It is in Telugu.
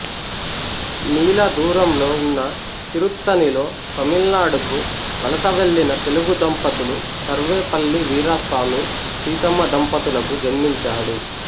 మీల దూరంలో ఉన్న తిరుత్తణిలో తమిళనాడుకు వలస వెళ్లిన తెలుగుదంపతులు సర్వేపల్లి వీరాస్వామి సీతమ్మ దంపతులకు జన్మించాడు